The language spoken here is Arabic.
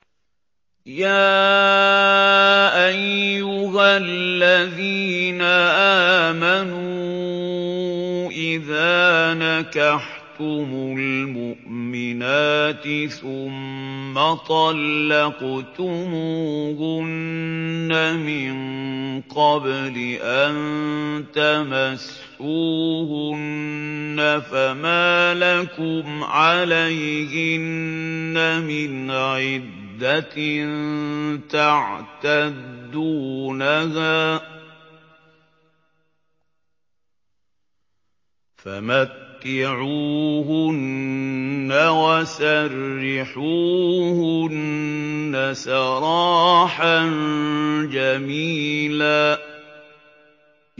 يَا أَيُّهَا الَّذِينَ آمَنُوا إِذَا نَكَحْتُمُ الْمُؤْمِنَاتِ ثُمَّ طَلَّقْتُمُوهُنَّ مِن قَبْلِ أَن تَمَسُّوهُنَّ فَمَا لَكُمْ عَلَيْهِنَّ مِنْ عِدَّةٍ تَعْتَدُّونَهَا ۖ فَمَتِّعُوهُنَّ وَسَرِّحُوهُنَّ سَرَاحًا جَمِيلًا